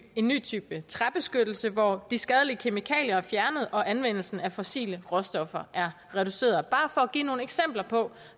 en ny type træbeskyttelse hvor de skadelige kemikalier er fjernet og anvendelsen af fossile råstoffer er reduceret det er bare for at give nogle eksempler på